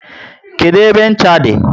Kedụ ebe ncha dị?